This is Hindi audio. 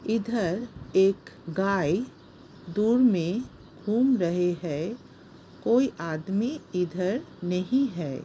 इधर एक गाय दूर में घूम रहे है। कोई आदमी इधर नहीं है।